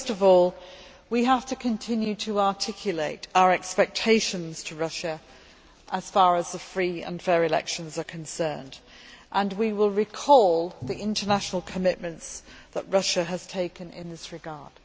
First of all we have to continue to articulate our expectations to Russia as far as free and fair elections are concerned, and we will recall the international commitments that Russia has taken in this regard.